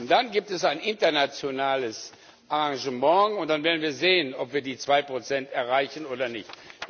Und dann gibt es ein internationales Arrangement, und wir werden wir sehen, ob wir die 2 Prozent erreichen oder nicht.